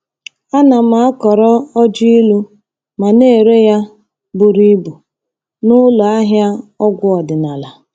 Ana m akọrọ ọjị ilu ma na-ere ya buru ibu n'ụlọ ahịa ọgwụ ọdịnala.